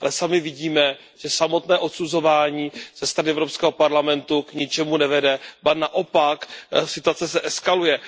Ale sami vidíme, že samotné odsuzování ze strany Evropského parlamentu k ničemu nevede, ba naopak, situace eskaluje.